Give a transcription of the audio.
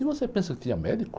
E você pensa que tinha médico?